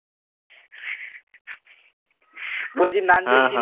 বলছি নাধুরজি